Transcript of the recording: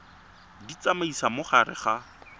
di tsamaisa mo gare ga